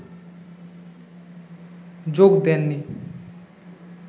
যোগ দেন নি